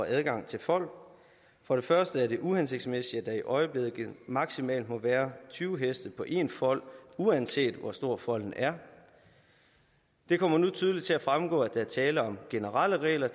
adgang til fold for det første er det uhensigtsmæssigt at der i øjeblikket maksimalt må være tyve heste på én fold uanset hvor stor folden er det kommer nu tydeligt til at fremgå at der er tale om generelle regler